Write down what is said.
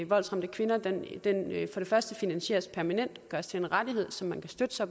voldsramte kvinder for det første finansieres permanent og gøres til en rettighed som man kan støtte sig